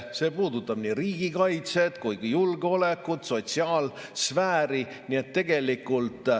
See puudutab riigikaitset, julgeolekut, sotsiaalsfääri.